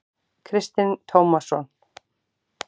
Kristinn Tómasson.